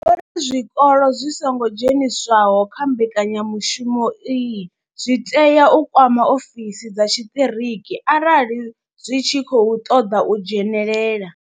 Vho ri zwikolo zwi songo dzheniswaho kha mbekanya mushumo iyi zwi tea u kwama ofisi dza tshiṱiriki arali zwi tshi khou ṱoḓa u dzhenelela.